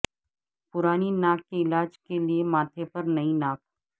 پرانی ناک کے علاج کے لیے ماتھے پر نئی ناک